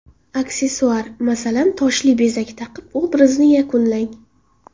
Aksessuar, masalan toshli bezak taqib obrazni yakunlang.